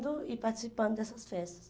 vendo e participando dessas festas.